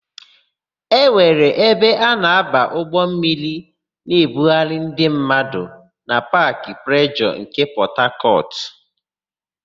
E nwere ebe a na-aba ụgbọmmiri na-ebugharị mmadụ na Paakị Plejọọ nke Pọtakọtụ.